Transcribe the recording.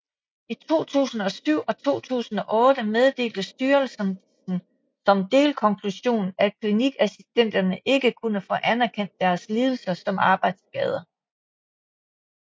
I 2007 og 2008 meddelte styrelsen som delkonklusion at klinikassistenterne ikke kunne få anerkendt deres lidelser som arbejdsskader